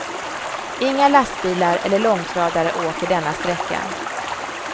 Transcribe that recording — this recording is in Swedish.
Inga lastbilar eller långtradare åker denna sträcka.